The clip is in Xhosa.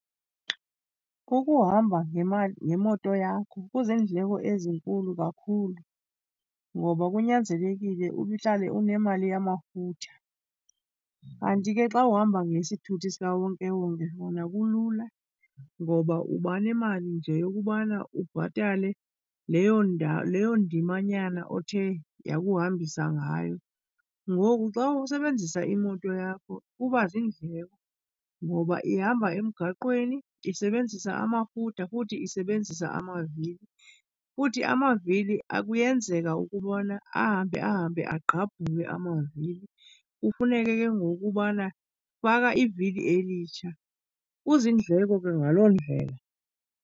Kukuhamba ngemali, ngemoto yakho. Kuziindleko ezinkulu kakhulu ngoba kunyanzelekile uhlale unemali yamafutha. Kanti ke xa uhamba ngesithuthi sikawonkewonke kona kulula ngoba uba nemali nje yokubana ubhatale leyo leyo ndimanyana othe yakuhambisa ngayo. Ngoku xa usebenzisa imoto yakho kuba ziindleko ngoba ihamba emgaqweni, isebenzisa amafutha futhi isebenzisa amavili. Futhi amavili kuyenzeka ukubona ahambe ahambe agqabhuke amavili, kufuneke ke ngoku ubana faka ivili elitsha. Kuziindleko ke ngaloo ndlela.